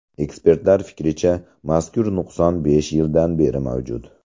Ekspertlar fikricha, mazkur nuqson besh yildan beri mavjud.